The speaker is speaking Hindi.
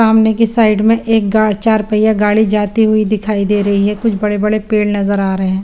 सामने की साइड में एक गार चार पहिया गाडी जाती हुई दिखाई दे रही है कुछ बड़े बड़े पेड़ दिखाई दे रहे है।